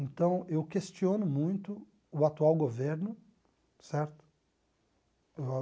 Então, eu questiono muito o atual governo, certo?